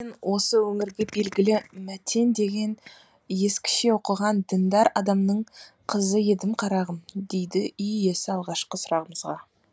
осы өңірге белгілі мәтен деген ескіше оқыған діндар адамның қызы едім қарағым деді үй иесі алғашқы сұрағымызға